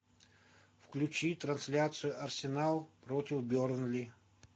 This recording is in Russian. включи трансляцию арсенал против бернли